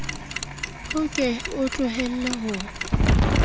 o ke o tlohele ho